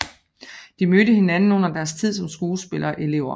De mødte hinanden under deres tid som skuespillerelever